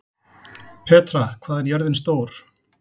Petra, hvað er jörðin stór?